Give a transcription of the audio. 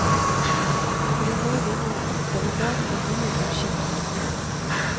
For i morgen er det atter en dag med nye budsjettdragkamper.